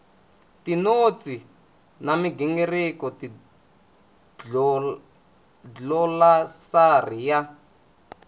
tinotsi na migingiriko dlilosari ya